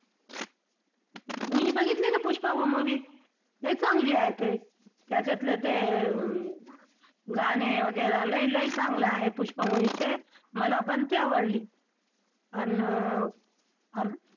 मी बघितली ना पुष्पा movie लई चांगली आहे ती त्याच्यातलं ते गाणे वगैरे लई लई चांगलं आहे पुष्पा movie चे मलापण ती आवडली. अन